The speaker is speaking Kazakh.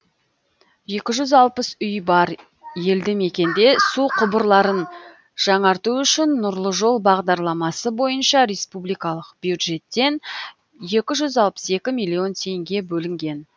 екі жүз алпыс үйі бар елді мекенде су құбырларын жаңарту үшін нұрлы жол бағдарламасы бойынша республикалық бюджеттен екі жүз алпыс екі миллион теңге бөлінген